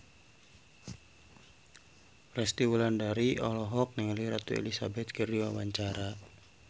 Resty Wulandari olohok ningali Ratu Elizabeth keur diwawancara